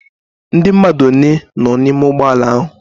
Ndi mmadu one noo na ime ugboala ahu?